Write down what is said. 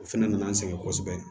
O fɛnɛ nana an sɛgɛn kosɛbɛ